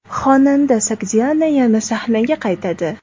Xonanda Sogdiana yana sahnaga qaytadi.